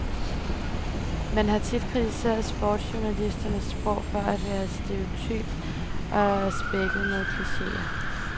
Man har tit kritiseret sportsjournalisternes sprog for at være stereotypt og spækket med klicheer.